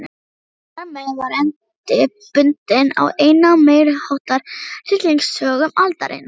Þarmeð var endi bundinn á eina af meiriháttar hryllingssögum aldarinnar.